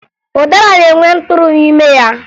Ụdara na-enwe mkpụrụ n'ime ya